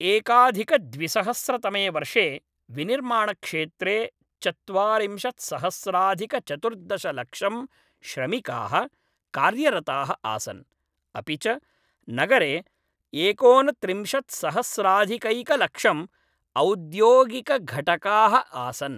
एकाधिकद्विसहस्रतमे वर्षे विनिर्माणक्षेत्रे चत्वारिंशत्सहस्राधिकचतुर्दशलक्षं श्रमिकाः कार्यरताः आसन्, अपि च नगरे एकोनत्रिंशत्सहस्राधिकैकलक्षम् औद्योगिकघटकाः आसन्।